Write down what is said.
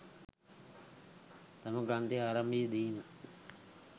තම ග්‍රන්ථයේ ආරම්භයේ දීම